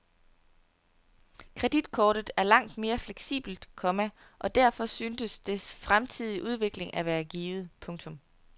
Kreditkortet er langt mere fleksibelt, komma og derfor synes dets fremtidige udvikling at være givet. punktum